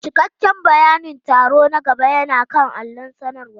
Cikakken bayanin taro na gaba yana kan allon sanarwa.